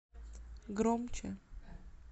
громче